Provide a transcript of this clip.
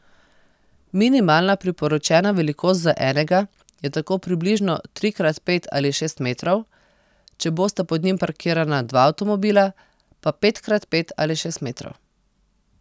Minimalna priporočena velikost za enega je tako približno tri krat pet ali šest metrov, če bosta pod njim parkirana dva avtomobila, pa pet krat pet ali šest metrov.